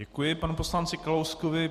Děkuji panu poslanci Kalouskovi.